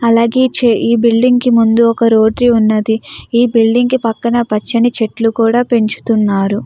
అలాగే ఈ బిల్డింగ్ కి ముండు ఒక రోడ్ ఉన్నది. ఈ బిల్డింగ్ పక్కన పచ్చని చేట్లు కూడా పెంచుతున్నారు.